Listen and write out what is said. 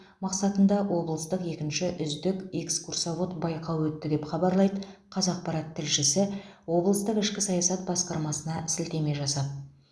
мақсатында облыстық екінші үздік экскурсовод байқауы өтті деп хабарлайды қазақпарат тілшісі облыстық ішкі саясат басқармасына сілтеме жасап